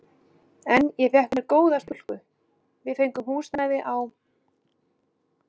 En ég fékk með mér góða stúlku, við fengum húsnæði á